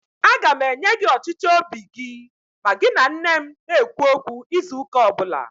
Aga m enye gị ọchịchọ óbì gị ma gị na nne m na -ekwu okwu izu ụ́kà ọbụla